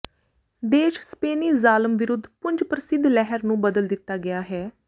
ਦੇਸ਼ ਸਪੇਨੀ ਜ਼ਾਲਮ ਵਿਰੁੱਧ ਪੁੰਜ ਪ੍ਰਸਿੱਧ ਲਹਿਰ ਨੂੰ ਬਦਲ ਦਿੱਤਾ ਗਿਆ ਹੈ